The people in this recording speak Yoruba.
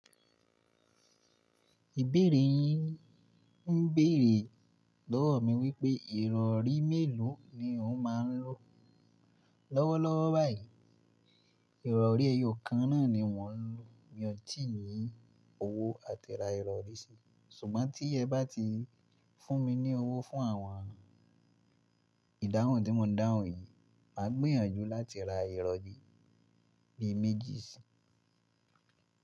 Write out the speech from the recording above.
Ìbéèrè yín ń béèrè lọ́wọ́ mi wípé ìrọrí mélòó ni o máa ń lò lọ́wọ́lọ́wọ́ báyìí. Ìrọrí ẹyọ kan náà ni mò ń lò, mi ò tì ní owó láti ra ìrọrí si. Ṣùgbọ́n tí ẹ bá ti fún mi ní owó fún àwọn ìdáhùn tí mò ń dáhùn yìí, mà á gbìyànjú láti ra ìrọ̀rí bí i méjì si.